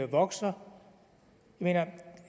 vokser jeg mener